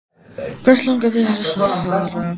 Hvert langar þig helst til að fara?